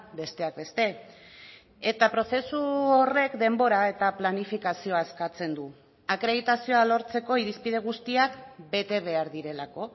besteak beste eta prozesu horrek denbora eta planifikazioa eskatzen du akreditazioa lortzeko irizpide guztiak bete behar direlako